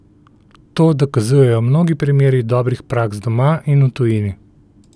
To dokazujejo mnogi primeri dobrih praks doma in v tujini.